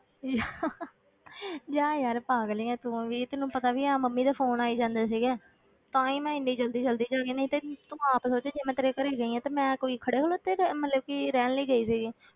ਜਾ ਯਾਰ ਪਾਗਲ ਹੀ ਹੈ ਤੂੰ ਵੀ ਤੈਨੂੰ ਪਤਾ ਵੀ ਹੈ ਮੰਮੀ ਦੇ phone ਆਈ ਜਾਂਦੇ ਸੀਗੇ ਤਾਂ ਹੀ ਮੈਂ ਇੰਨੀ ਜ਼ਲਦੀ ਜ਼ਲਦੀ ਵਿੱਚ ਆ ਗਈ, ਨਹੀਂ ਤੇ ਤੂੰ ਆਪ ਸੋਚ ਜੇ ਮੈਂ ਤੇਰੇ ਘਰੇ ਗਈ ਹਾਂ ਤੇ ਮੈਂ ਕੋਈ ਖੜੇ ਹੋਣ ਉੱਥੇ ਮਤਲਬ ਕਿ ਰਹਿਣ ਲਈ ਗਈ ਸੀਗੀ।